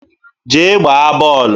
Jee gbaa bọọlụ!